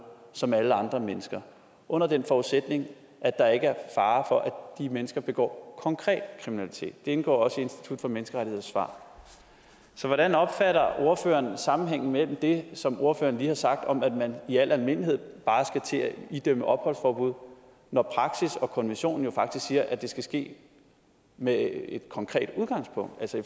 som alle andre mennesker under den forudsætning at der ikke er fare for at de mennesker begår konkret kriminalitet det indgår også i institut for menneskerettigheders svar så hvordan opfatter ordføreren sammenhængen mellem det som ordføreren lige har sagt om at man i al almindelighed bare skal til at idømme opholdsforbud når praksis og konvention jo faktisk siger at det skal ske med et konkret udgangspunkt altså i